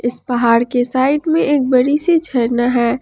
इस पहाड़ के साइड में एक बड़ी सी झरना है।